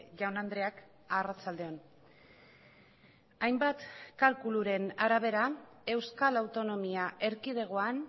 jaun andreak arratsalde on hainbat kalkuluren arabera euskal autonomia erkidegoan